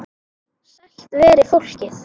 Sælt veri fólkið!